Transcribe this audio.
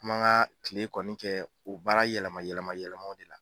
An b'an ka kile kɔni kɛ u baara yɛlɛma yɛlɛma yɛlɛma de la.